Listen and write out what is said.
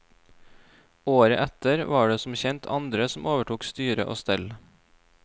Året etter var det som kjent andre som overtok styre og stell.